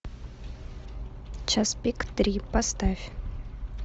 час пик три поставь